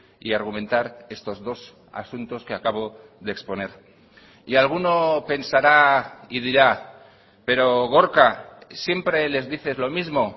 y argumentar estos dos asuntos que acabo de exponer y alguno pensará y dirá pero gorka siempre les dices lo mismo